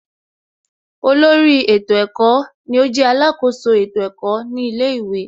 Olórí ètò ẹ̀kọ́ ni ó jẹ́ alákoso ètò ẹ̀kọ́ ní ilé ìwé